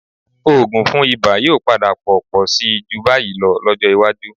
Òògùn fún ibà yóò padà pọ̀ pọ̀ síi jù báyìí lọ lọ́jọ́ iwájú